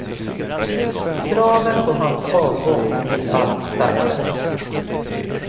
Kraven på hans avgång blir allt starkare.